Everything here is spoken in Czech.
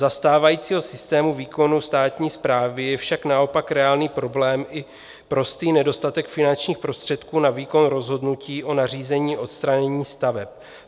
Za stávajícího systému výkonu státní správy je však naopak reálný problém i prostý nedostatek finančních prostředků na výkon rozhodnutí o nařízení odstranění staveb.